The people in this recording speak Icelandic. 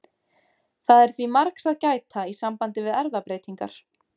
Það er því margs að gæta í sambandi við erfðabreytingar.